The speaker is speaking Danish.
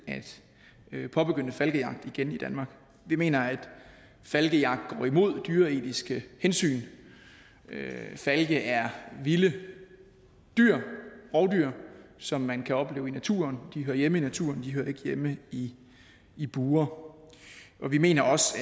at påbegynde falkejagt igen i danmark vi mener at falkejagt går imod dyreetiske hensyn falke er vilde rovdyr som man kan opleve i naturen de hører hjemme i naturen de hører ikke hjemme i i bure vi mener også